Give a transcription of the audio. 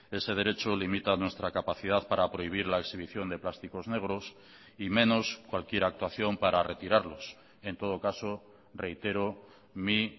ese derecho limita nuestra capacidad para prohibir la exhibición de plásticos negros y menos cualquier actuación para retirarlos en todo caso reitero mi